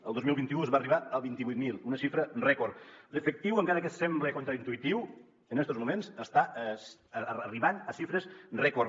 el dos mil vint u es va arribar a vint vuit mil una xifra rècord d’efectiu encara que sembla contraintuïtiu en estos moments està arribant a xifres rècord